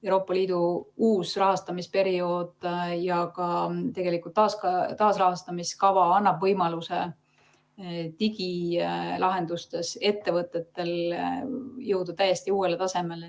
Euroopa Liidu uus rahastamisperiood ja ka taaskäivitamise kava annab ettevõtetele võimaluse jõuda digilahendustes täiesti uuele tasemele.